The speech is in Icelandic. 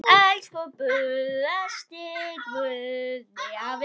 Elsku besti Guðni afi minn.